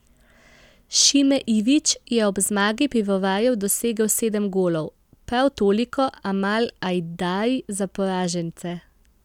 Šime Ivić je ob zmagi pivovarjev dosegel sedem golov, prav toliko Amal Ajdari za poražence.